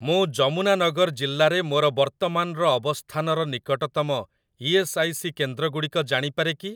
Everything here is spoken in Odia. ମୁଁ ଯମୁନାନଗର ଜିଲ୍ଲାରେ ମୋର ବର୍ତ୍ତମାନର ଅବସ୍ଥାନର ନିକଟତମ ଇ.ଏସ୍. ଆଇ. ସି. କେନ୍ଦ୍ରଗୁଡ଼ିକ ଜାଣିପାରେ କି?